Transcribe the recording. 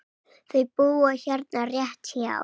Þau búa hérna rétt hjá.